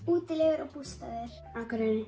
útilegur og bústaðir Akureyri